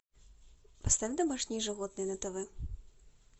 поставь домашние животные на тв